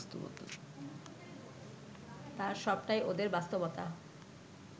তার সবটাই ওদের বাস্তবতা